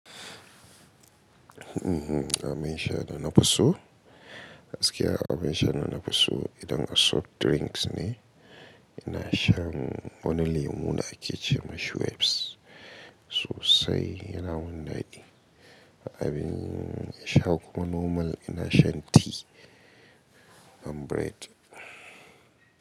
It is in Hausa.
Mhm, abin shada na fiso, gaskiya abin sha dana fiso idan a soft drinks ne, ina shan wani lemu da ake ce ma Schweppes, sosai yana mundadi Abin sha kuma normal ina shan ti and bread.